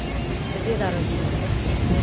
Seveda razumem.